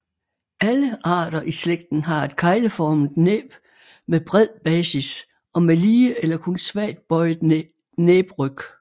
Alle arter i slægten har et kegleformet næb med bred basis og med lige eller kun svagt bøjet næbryg